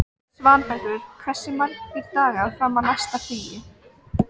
Svanbergur, hversu margir dagar fram að næsta fríi?